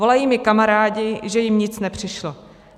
Volají mi kamarádi, že jim nic nepřišlo.